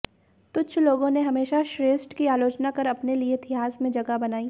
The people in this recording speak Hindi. तुच्छ लोगों ने हमेशा श्रेष्ठ की आलोचना कर अपने लिये इतिहास में जगह बनाई